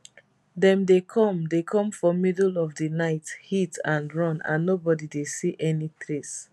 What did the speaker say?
dem dey come dey come for middle of di night hit and run and nobody dey see any trace